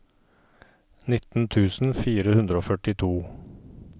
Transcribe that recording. nitten tusen fire hundre og førtito